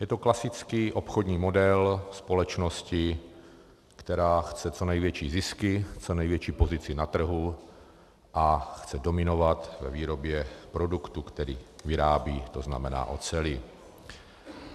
Je to klasický obchodní model společnosti, která chce co největší zisky, co největší pozici na trhu a chce dominovat ve výrobě produktu, který vyrábí, to znamená oceli.